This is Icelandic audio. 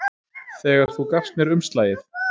Þegar þú gafst mér umslagið.